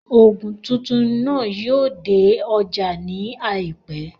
Òògùn titun náà yóò dé ọjá ní àìpẹ́